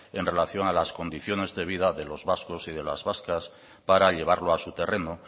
en relación a las condiciones de vida de los vascos y de las vascas para llevarlo a su terreno